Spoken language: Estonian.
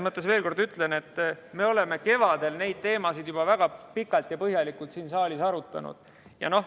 Ma veel kord ütlen, et me oleme kevadel neid teemasid juba väga pikalt ja põhjalikult siin saalis arutanud.